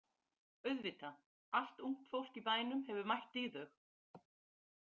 Auðvitað, allt ungt fólk í bænum hefur mætt í þau.